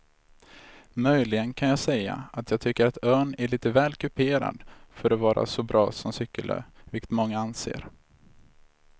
Möjligen kan jag säga att jag tycker att ön är lite väl kuperad för att vara så bra som cykelö vilket många anser.